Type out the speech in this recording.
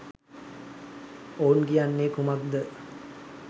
ඔවුන් කියන්නේ කුමක්ද?